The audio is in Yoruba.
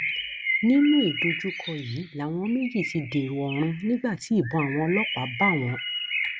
nínú ìdojúkọ yìí làwọn méjì ti dèrò ọrun nígbà tí ìbọn àwọn ọlọpàá bá wọn